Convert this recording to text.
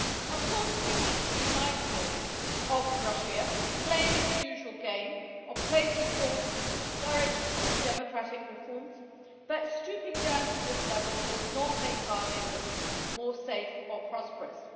Of course, we need to be mindful of Russia playing its usual game of placing pawns to discourage democratic reforms, but stooping to that level will not make our neighbourhood safer or more prosperous.